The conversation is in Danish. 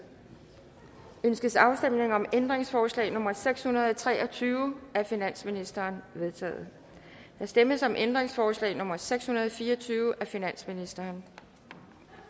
ønskes afstemning om ændringsforslag nummer seks hundrede og tre og tyve af finansministeren det vedtaget der stemmes om ændringsforslag nummer seks hundrede og fire og tyve af finansministeren